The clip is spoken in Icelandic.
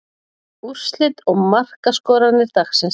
Úrslit og markaskorarar dagsins.